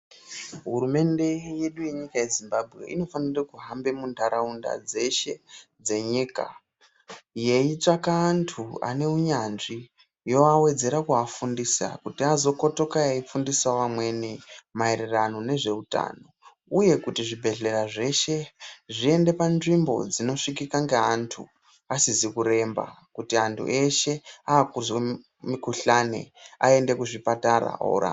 Hurumende yedu yenyika yeZimbabwe inofanire kuhamba munharaunda dzeshe dzenyika yeitsvaka antu aneunyanzvi yoawedzera kuafundisa kuti azokotoka eifundisa amweni meerano nezveutano uyekuti zvibhelera zveshe zviende panzvimbo inosvikika ngeantu asizi kuremba kuti antu eshe akuzwe mikhulani aende kuzvipatara orapwa.